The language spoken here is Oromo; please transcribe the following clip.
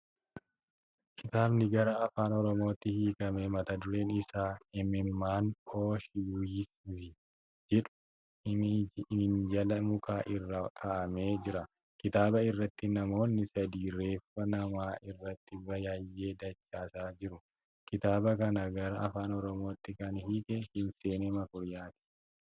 Kitaabni gara afaan Oromootti hiikame mata dureen isaa ' Imimmaan Oshiwiitzi 'jedhu minjaala mukaa irra kaa'amee jira. Kitaba irratti namoonni sadii reeffa namaa irratti biyyee dachaasaa jiru. Kitaaba kana gara Afaan Oromootti kan hiike Hinseenee Makuriyaati.